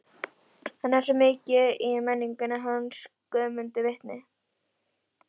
Hann er svo mikið í menningunni, hann Guðmundur vitni.